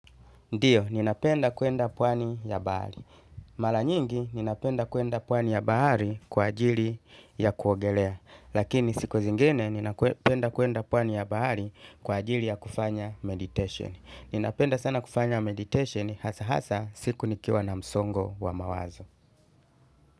Ndiyo, ninapenda kwenda pwani ya bahari. Mara nyingi, ninapenda kwenda pwani ya bahari kwa ajili ya kuogelea. Lakini siku zingine, ninapenda kwenda pwani ya bahari kwa ajili ya kufanya meditation. Ninapenda sana kufanya meditation, hasa hasa siku nikiwa na msongo wa mawazo.